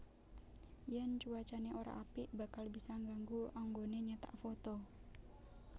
Yen cuacane ora apik bakal bisa nggangu anggone nyetak foto